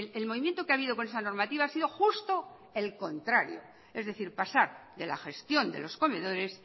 el movimiento que ha habido con esa normativa ha sido justo el contrario es decir pasar de la gestión de los comedores